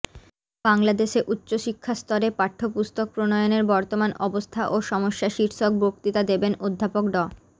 বাংলাদেশে উচ্চ শিক্ষাস্তরে পাঠ্যপুস্তক প্রণয়নের বর্তমান অবস্থা ও সমস্যা শীর্ষক বক্তৃতা দেবেন অধ্যাপক ড